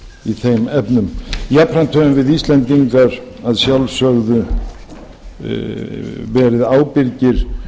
í þeim efnum jafnframt höfum við íslendingar að sjálfsögðu verið ábyrgir